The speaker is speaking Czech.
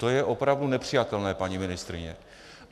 To je opravdu nepřijatelné, paní ministryně.